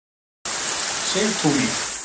Sigtúni